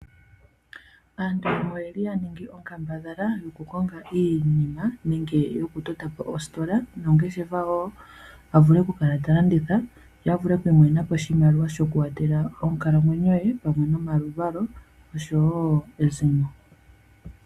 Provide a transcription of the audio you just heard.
Aantu yamwe oyeli ya ningi onkambadhala yoku konga iinima nenge yoku totapo oositola noongeshefa woo, avule kukala ta landitha ye avule okwiimonena po oshimaliwa shoku watela oonkalamwenyo ye pamwe nomaluvalo osho woo ezimo.